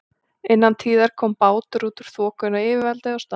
Innan tíðar kom bátur út úr þokunni og yfirvaldið á staðnum